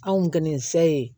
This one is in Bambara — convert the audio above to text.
Anw kɔni fɛ ye